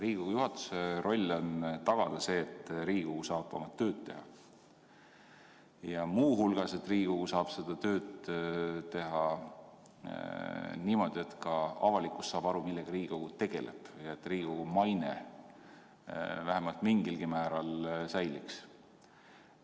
Riigikogu juhatuse roll on tagada see, et Riigikogu saab oma tööd teha, ja muu hulgas, et Riigikogu saab seda tööd teha niimoodi, et ka avalikkus saaks aru, millega Riigikogu tegeleb, ja Riigikogu maine vähemalt mingilgi määral säiliks.